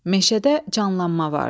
Meşədə canlanma vardı.